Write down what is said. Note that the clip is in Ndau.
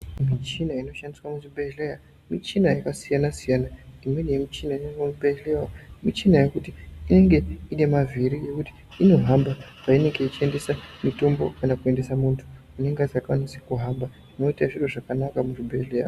Michina inoshandiswa muzvibhedhleya muchina yakasiyana siyana imweni inoshandiswa diswa muzvibhedhleya michina yekuti in ge ine mavhiri yekuti inohamba kana kuendese mutombo kana kuendesa muntu unenge asikakwanisi kuhamba zvoite zviro zvakanaka muchibhedhleya.